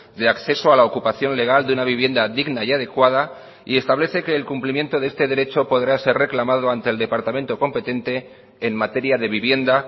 de acceso a la ocupación legal de una vivienda digna y adecuada y establece que el cumplimiento de este derecho podrá ser reclamado ante el departamento competente en materia de vivienda